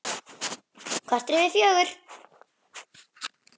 Korter yfir fjögur.